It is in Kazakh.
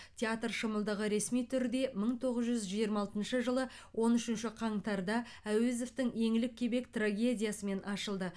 театр шымылдығы ресми түрде мың тоғыз жүз жиырма алтыншы жылы он үшінші қаңтарда әуезовтің еңлік кебек трагедиясымен ашылды